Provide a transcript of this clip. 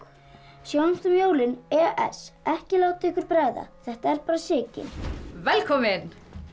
sjáumst um jólin ekki láta ykkur bregða þetta er bara Sigyn velkomin